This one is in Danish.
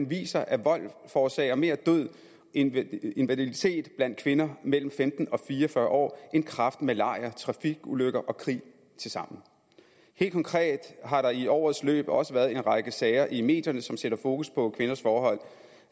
viser at vold forårsager mere død og invaliditet blandt kvinder mellem femten og fire og fyrre år end kræft malaria trafikulykker og krig tilsammen helt konkret har der i årets løb også været en række sager i medierne som sætter fokus på kvinders forhold